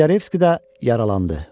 Kotlyarevski də yaralandı.